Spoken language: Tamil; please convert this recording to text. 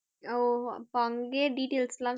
ஓ இப்ப அங்கயே details எல்லாம்